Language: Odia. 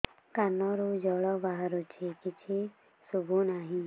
କାନରୁ ଜଳ ବାହାରୁଛି କିଛି ଶୁଭୁ ନାହିଁ